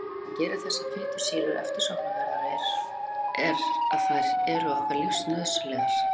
Það sem gerir þessar fitusýrur eftirsóknarverðar er að þær eru okkur lífsnauðsynlegar.